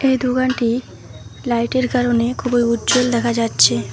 এই দোকানটি লাইটের কারণে খুবই উজ্জ্বল দেখা যাচ্ছে।